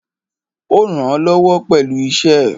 Ó rànán lọ́wọ́ pẹ̀lú iṣẹ́ ẹ̀.